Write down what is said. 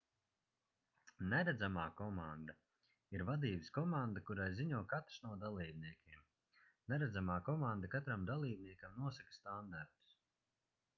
neredzamā komanda ir vadības komanda kurai ziņo katrs no dalībniekiem neredzamā komanda katram dalībniekam nosaka standartus